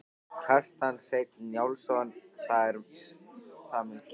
Kjartan Hreinn Njálsson: Það er það mun gerast?